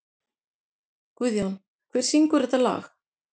Guðjón, hver syngur þetta lag?